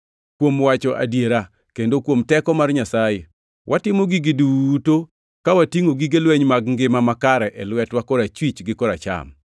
kuom wacho adiera, kendo kuom teko mar Nyasaye. Watimo gigi duto ka watingʼo gige lweny mag ngima makare e lwetwa korachwich gi koracham;